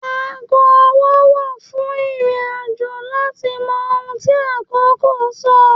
Ago ọwọ́ wà fún ìrìn-àjò láti mọ ohun tí àkókò ń sọ.